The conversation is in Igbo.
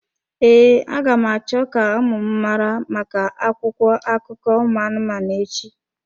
Ee, aga m acho ka ụmụ m mara maka akwụkwọ akụkọ ụmụ anụmanụ echi.